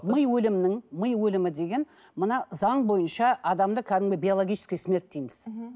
ми өлімнің ми өлімі деген мына заң бойынша адамды кәдімгі биологическая смерть дейміз мхм